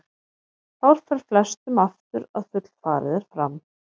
Þá fer flestum aftur að fullfarið er fram.